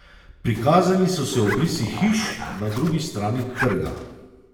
Prikazali so se obrisi hiš na drugi strani trga.